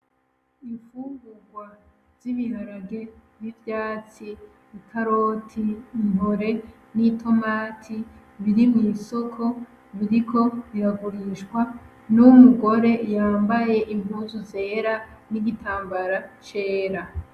Ifungugwa z'ibiharage, n'ivyatsi, ikaroti, intore, n'itomati, biri mwisoko. Biriko biragurishwa n'umugore yambaye impuzu zera n'igitambara cera.